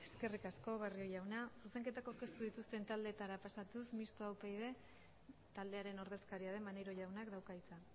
presidenta eskerrik asko barrio jauna zuzenketak aurkeztu dituzten taldeetara pasatuz mistoa upyd taldearen ordezkaria den maneiro jaunak dauka hitza